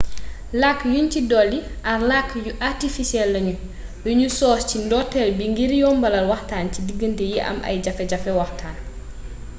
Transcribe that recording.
làkk yuñ ci dolli are làkk yu artifisiyel lañu yuñu sos ci ndorteel bi ngir yombal waxtaan ci digante yi am ay jafe-jafe waxtaan